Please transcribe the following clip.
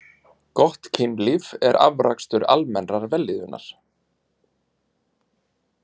Gott kynlíf er afrakstur almennrar vellíðunar.